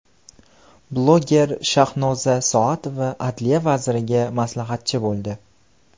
Bloger Shahnoza Soatova adliya vaziriga maslahatchi bo‘ldi.